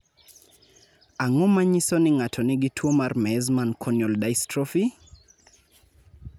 Ang�o ma nyiso ni ng�ato nigi tuo mar Meesmann corneal dystrophy?